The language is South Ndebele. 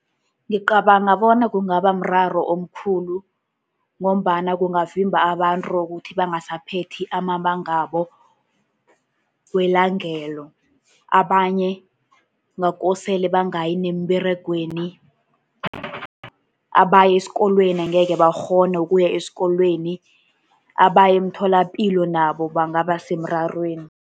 Ngicabanga bona kungaba mraro omkhulu, ngombana kungavimba abantu ukuthi bangasaphethi amabanga wabo kwelangelo. Abanye kungakosele bangayi nemberegweni, abaya esikolweni angekhe bakghone ukuya esikolweni, abaya emtholapilo nabo bangaba semrarweni.